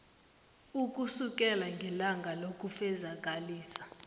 ukusukela ngelanga lokufezakalisa